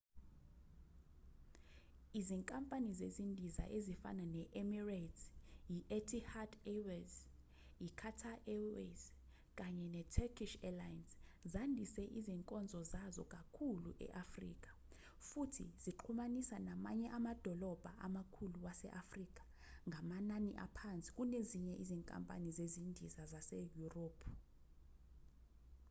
izinkampani zezindiza ezifana ne-emirates i-etihad airways i-qatar airways kanye ne-turkish airlines zandise izinkonzo zazo kakhulu e-afrika futhi zixhumanisa namanye amadolobha amakhulu wase-afrika ngamanani aphansi kunezinye izinkampani zezindiza zaseyurophu